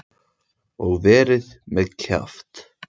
Og verið með kjaft.